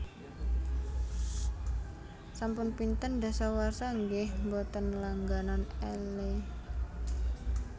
Sampun pinten dasawarsa nggeh mboten langganan Elle?